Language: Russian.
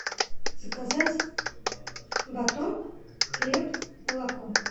заказать батон хлеб молоко